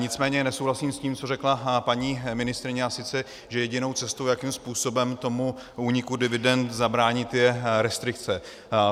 Nicméně nesouhlasím s tím, co řekla paní ministryně, a sice že jedinou cestou, jakým způsobem tomu úniku dividend zabránit, je restrikce.